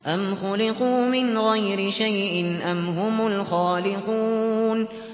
أَمْ خُلِقُوا مِنْ غَيْرِ شَيْءٍ أَمْ هُمُ الْخَالِقُونَ